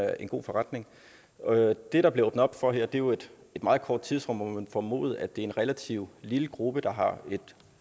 er en god forretning det der bliver åbnet op for her er jo et meget kort tidsrum og man formode at det er en relativt lille gruppe der har et